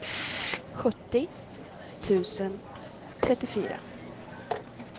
sjuttio tusen trettiofyra